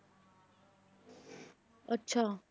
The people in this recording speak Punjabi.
ਅੱਛਾ।